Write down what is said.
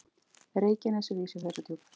Reykjanesi við Ísafjarðardjúp.